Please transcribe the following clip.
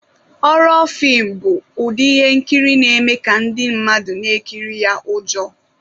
Hhoro fim bụ ụdị ihe nkiri na-eme ka ndị mmadụ na-ekiri ya ụjọ.